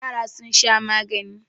Yara suna shan magani.